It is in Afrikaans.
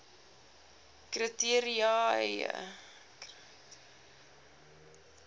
kri teria eie